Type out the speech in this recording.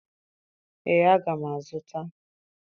ee, aga m azụta.